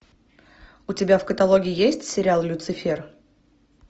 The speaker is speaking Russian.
у тебя в каталоге есть сериал люцифер